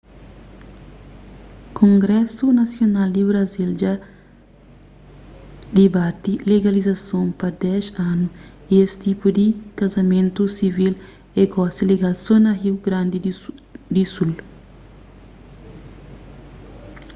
kongrésu nasional di brazil dja dibati legalizason pa 10 anu y es tipu di kazamentus sivil é gosi legal so na riu grandi di sul